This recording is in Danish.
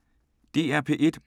DR P1